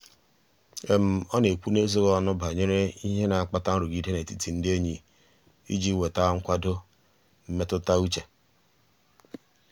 ọ na-ekwu n'ezoghị ọnụ banyere ihe na-akpata nrụgide n'etiti ndị enyi iji nweta nkwado mmetụta uche.